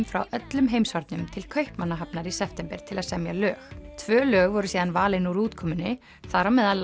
frá öllum heimshornum til Kaupmannahafnar í september til að semja lög tvö lög voru síðan valin úr útkomunni þar á meðal